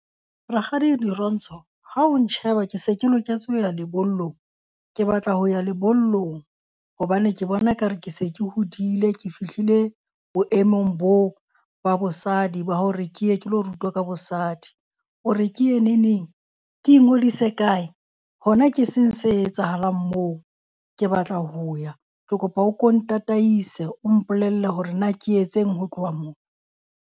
Rakgadi Dirontsho, ha o ntjheba ke se ke loketse ho ya lebollong? Ke batla ho ya lebollong hobane ke bona ekare ke se ke hodile. Ke fihlile boemong boo ba bosadi ba hore ke ye ke ho rutwa ka bosadi. O re ke ye neneng? Ke ingodise kae? Hona ke seng se etsahalang moo? Ke batla ho ya. Ke kopa o ko ntataise, o mpolelle hore na ke etseng ho tloha moo.